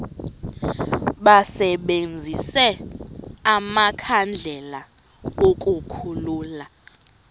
basebenzise amakhandlela ukukhulula